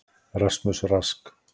Rasmus Rask.